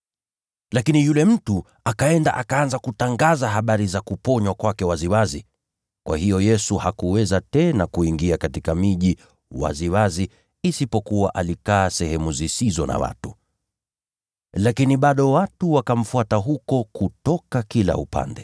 Lakini yule mtu akaenda akaanza kutangaza habari za kuponywa kwake waziwazi. Kwa hiyo, Yesu hakuweza tena kuingia katika miji waziwazi lakini alikaa sehemu zisizo na watu. Hata hivyo watu wakamfuata huko kutoka kila upande.